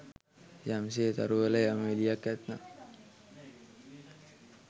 යම් සේ තරුවල යම් එළියක් ඇත්නම්